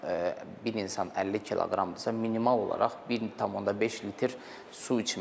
Məsələn, bir insan 50 kq-dırsa minimal olaraq 1.5 litr su içməsi.